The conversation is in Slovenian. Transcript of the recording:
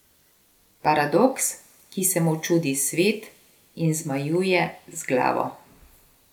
Paradoks, ki se mu čudi svet in zmajuje z glavo.